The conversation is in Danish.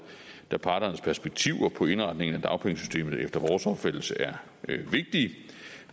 da parternes perspektiver på indretningen af dagpengesystemet efter vores opfattelse er vigtige